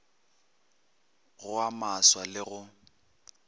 go a maswa le go